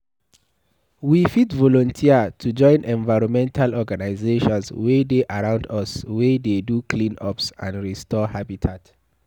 We fit volunteer to join environmental organisations wey dey around us wey dey do cleanups and restore habitat